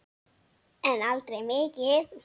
En aldrei mikið.